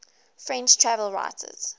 french travel writers